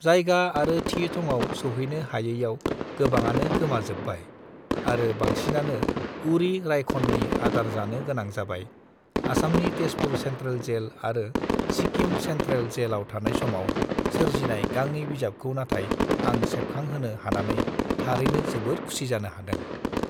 जायगा आरो थि थङाव सौहैनो हायैआव गोबाङानो गोमा जोब्बाय आरो बांसिनानो उरि रायखननि आदार जानो गोनां जाबाय आसामनि तेजपुर सेंट्रल जेल आरो सिक्किम सेंट्रल जेल आव थानाय समाव सोरजिनाय गांनै बिजाबखौ नाथाय आं सेबखां होनो हानानै थारैनो जोबोद खुसि जानो हादों